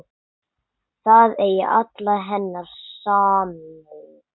Það eigi alla hennar samúð.